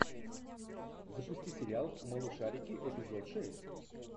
запусти сериал малышарики эпизод шесть